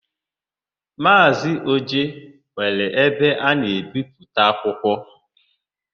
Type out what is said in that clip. Maazị Oje nwere ebe a na-ebipụta akwụkwọ.